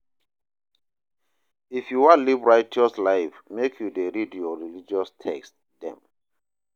If you wan live righteous life make you dey read your religious text dem.